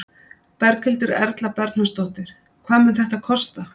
Berghildur Erla Bernharðsdóttir: Hvað mun þetta kosta?